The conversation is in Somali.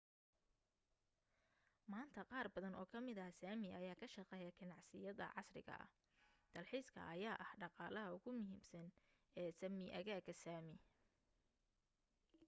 maanta qaar badan oo kamida sami ayaa ka shaqeeya ganacsiyada casriga ah. dalxiiska ayaa ah dhaqaalaha ugu muhiimsan ee sapmi, aagaga sami